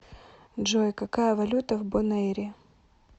джой какая валюта в бонэйре